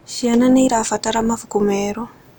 Ciana nĩ irabatara mabuku merũ